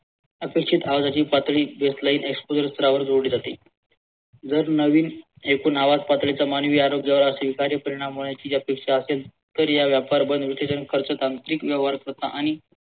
अपेक्षित आवाजाची पातळी स्थरावर जोडली जाते जर नवीन एकूण आवाज पातळीच्या मानवी आरोग्याला असा विकारी परिणाम होण्याची अपेक्षा असेल तर या व्यापारबंद खर्च तांत्रिक व्यवहारकर्ता आणि